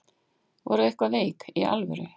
Ertu eitthvað veik. í alvöru?